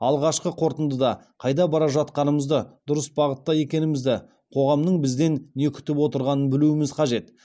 алғашқы қорытындыда қайда бара жатқанымызды дұрыс бағытта екенімізді қоғамның бізден не күтіп отырғанын білуіміз қажет